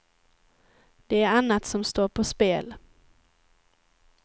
Det är annat som står på spel.